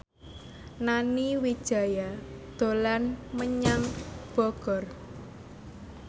Nani Wijaya dolan menyang Bogor